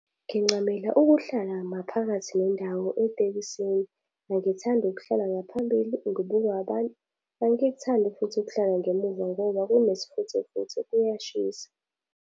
Ngincamela ukuhlala maphakathi nendawo etekisini. Angithandi ukuhlala ngaphambili ngibukwa abantu. Angikuthandi futhi ukuhlala ngemuva ngoba kunesifuthefuthe kuyashisa.